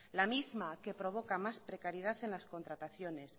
la misma que provoca más precariedad en las contrataciones